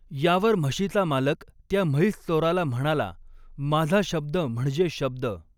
यावर म्हशीचा मालक त्या म्हैस चोराला म्हणाला, माझा शब्द म्हणजे शब्द.